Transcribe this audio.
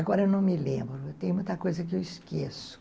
Agora eu não me lembro, tem muita coisa que eu esqueço.